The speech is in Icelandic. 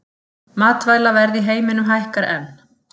Matvælaverð í heiminum hækkar enn